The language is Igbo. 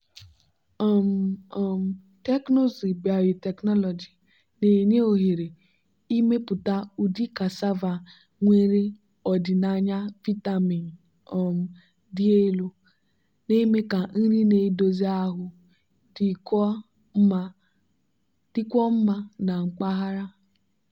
um um teknụzụ biotechnology na-enye ohere ịmepụta ụdị cassava nwere ọdịnaya vitamin um dị elu na-eme ka nri na-edozi ahụ dịkwuo mma na mpaghara.